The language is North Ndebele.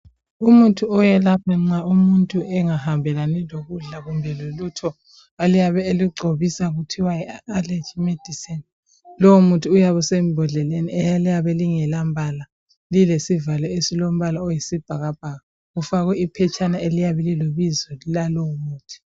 Umuthi oyelapha nxa umuntu engahambelani lokudla kumbe lolutho oyabe elugcobisa kuthiwa yi allergy medicine, lowu muthi uyabe usembhodleleni eliyabe lingelambala lilesivalo esilombala oyisibhakabhaka kufakwe iphetshana eliyabe lilebizo lalowo muthi